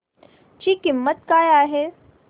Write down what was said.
ची किंमत काय आहे